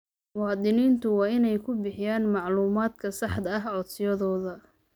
Muwaadiniintu waa inay ku bixiyaan macluumaadka saxda ah codsiyadooda.